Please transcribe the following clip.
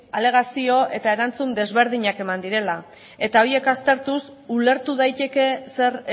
alegazio eta erantzun desberdinak eman direla eta horiek aztertuz ulertu daiteke zer